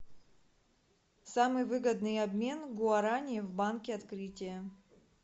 самый выгодный обмен гуарани в банке открытие